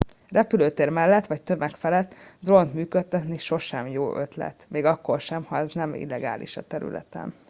repülőtér mellett vagy tömeg felett drónt működtetni sosem jó ötlet még akkor sem ha ez nem illegális a területen